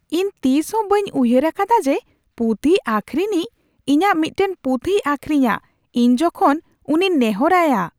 ᱤᱧ ᱛᱤᱥᱦᱚᱸ ᱵᱟᱹᱧ ᱩᱭᱦᱟᱹᱨ ᱟᱠᱟᱫᱟ ᱡᱮ ᱯᱩᱛᱷᱤ ᱟᱹᱠᱷᱨᱤᱧᱤᱡ ᱤᱧᱟᱹᱜ ᱢᱤᱫᱴᱟᱝ ᱯᱩᱛᱷᱤᱭ ᱟᱹᱠᱷᱨᱤᱧᱟ ᱤᱧ ᱡᱚᱠᱷᱚᱱ ᱩᱱᱤᱧ ᱱᱮᱦᱚᱨ ᱟᱭᱟ ᱾